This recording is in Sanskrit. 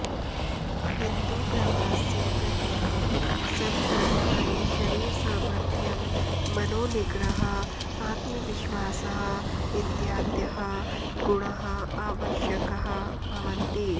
किन्तु प्रवाहस्य प्रतीपं संतरणाय शरीरसामर्थ्यं मनोनिग्रहः आत्मविश्वासः इत्यादयः गुणाः आवश्यकाः भवन्ति